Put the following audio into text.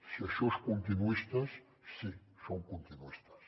si això és continuistes sí som continuistes